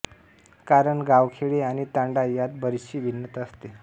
कारण गावखेडे आणि तांडा यात बरीचशी भिन्नता असते